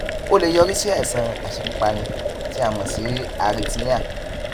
ó lè yọrí sí àìsàn aṣekúpani tí a mọ sí arrhythmia